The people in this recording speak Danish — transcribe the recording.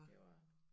Det var